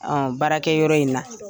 baarakɛ yɔrɔ in na.